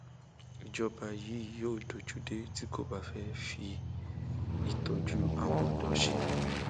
ìjọba yìí yóò dojú dé tí kò bá bá fi ìtọjú àwọn ọdọ ṣe